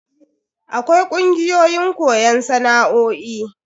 Akwai kungiyoyin koyon sana'o'i.